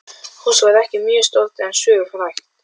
Húsið var ekki mjög stórt en sögufrægt.